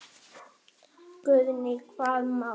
Guðný: Hvaða mál?